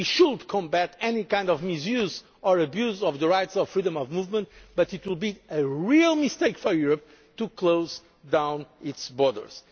a sacred principle. We should combat any kind of misuse or abuse of the rights of freedom of movement, but it would be a real mistake for Europe to